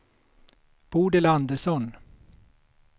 Bodil Andersson